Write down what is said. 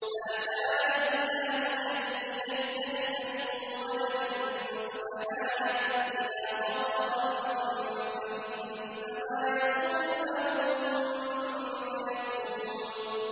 مَا كَانَ لِلَّهِ أَن يَتَّخِذَ مِن وَلَدٍ ۖ سُبْحَانَهُ ۚ إِذَا قَضَىٰ أَمْرًا فَإِنَّمَا يَقُولُ لَهُ كُن فَيَكُونُ